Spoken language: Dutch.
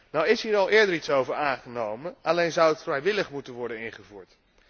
Nu is hier al eerder iets over aangenomen, alleen zou het vrijwillig moeten worden ingevoerd.